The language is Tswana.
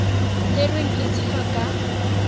tserweng e se ka fa